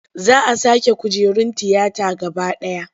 Za a sake kujerun tiyata gaba ɗaya.